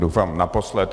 Doufám naposled.